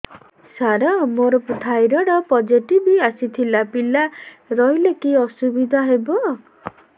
ସାର ମୋର thyroid positive ଆସିଥିଲା ପିଲା ରହିଲେ କି ଅସୁବିଧା ହେବ